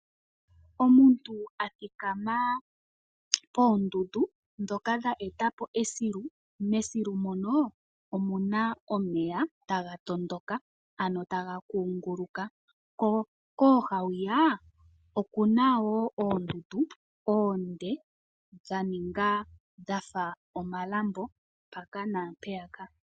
Omuntu athikama koondundu dhoka dha eta po esilu. Mesilu mono omuna omeya taga tondoka ano taga kunguluka ko kooha hwiya okuna woo oondundu oonde dha ninga dhafa omalambo mpaka naampeyaka.